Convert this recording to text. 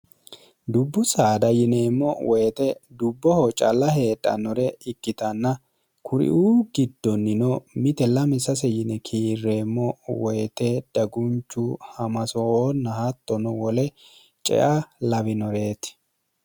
dubbu saada yineemmo woyite dubboho calla heedhannore ikkitanna kuriuu giddonnino mite lami sase yine kiirreemmo woyite dagunchu hamasooonna hattono wole cea lawinoreeti